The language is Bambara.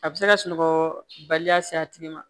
A bɛ se ka sunɔgɔ baliya se a tigi ma